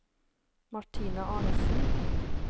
Martine Arnesen